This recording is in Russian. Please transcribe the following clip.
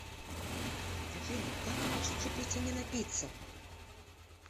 афина как научиться пить и не напиться